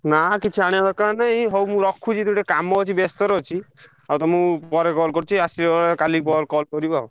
ନାଁ କିଛି ଆଣିଆ ଦରକାର୍ ନାଇ। ହଉ ମୁଁ ରଖୁଛି ଟିକେ କାମ ଅଛି ବ୍ୟସ୍ତ ରେ ଅଛି ତମକୁ ପରେ call କରୁଛି। ଆସିବ କାଲି call କରିବ ଆଉ।